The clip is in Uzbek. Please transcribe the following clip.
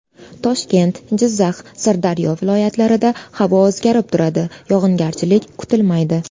Toshkent, Jizzax, Sirdaryo viloyatlarida havo o‘zgarib turadi, yog‘ingarchilik kutilmaydi.